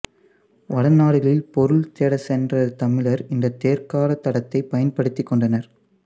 வடநாடுகளில் பொருள் தேடச்சென்ற தமிழர் இந்தத் தேர்க்கால் தடத்தைப் பயன்படுத்திக்கொண்டனர்